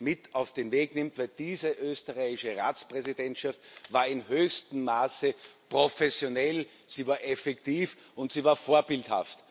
mit auf den Weg nimmt, weil denn diese österreichische Ratspräsidentschaft war in höchstem Maße professionell, sie war effektiv und sie war vorbildhaft.